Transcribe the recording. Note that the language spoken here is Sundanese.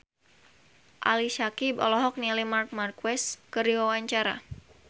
Ali Syakieb olohok ningali Marc Marquez keur diwawancara